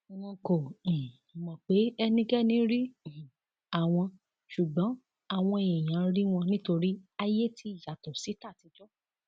wọn kò um mọ pé ẹnikẹni rí um àwọn ṣùgbọn àwọn èèyàn rí wọn nítorí ayé ti yàtọ sí tàtijọ